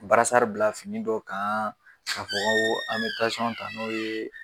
bila fini dɔw kan ka fɔ k'an bɛ tansiyɔn ta n'o ye